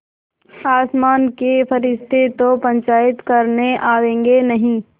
आसमान के फरिश्ते तो पंचायत करने आवेंगे नहीं